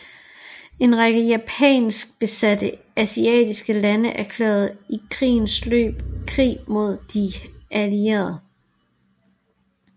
En række japansk besatte asiatiske lande erklærede i krigens løb krig mod de Allierede